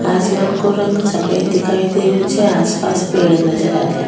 आसमान को रंग सफेद दिखाई दे रो छे आस पास पेड़ नजर आ रा।